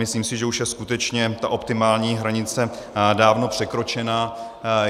Myslím si, že už je skutečně ta optimální hranice dávno překročena.